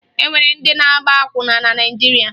E nwere ndị na-agba akwụna na Naịjirịa